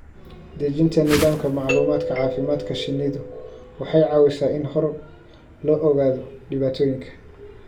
Dejinta nidaamka macluumaadka caafimaadka shinnidu waxay caawisaa in hore loo ogaado dhibaatooyinka.